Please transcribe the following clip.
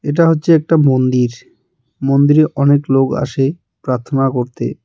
এটা হচ্ছে একটা মন্দির মন্দিরে অনেক লোক আসে প্রার্থনা করতে.